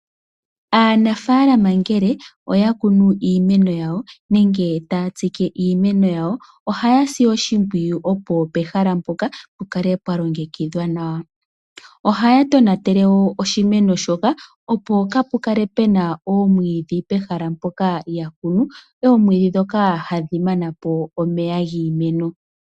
Aanafalama ngele oya kunu iimeno yawo nenge taya tsike iimeno yawo ohaya si oshimpwiyu opo pehala mpoka pukale pwa longekidhwa nawa. Ohaya tonatele oshimeno shoka opo kapule kale oomwiidhi pehala mpoka ya kunu oomwiidhi ndhoka hadhi manapo omeya giimeno.